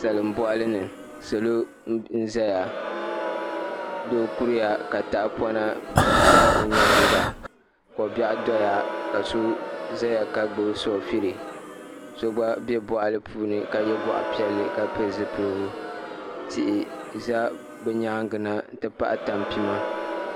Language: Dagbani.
Salin boɣali ni salo n ʒɛya doo kuriya ka tahapona ʒɛ o nyaanga kobiɛɣu doya ka so ʒɛya ka gbubi soofili so gba bɛ boɣali puuni ka yɛ goɣa piɛlli ka pili zipiligu tihi ʒɛ bi nyaangi na n ti pahi tanpima